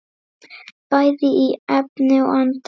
Bæði í efni og anda.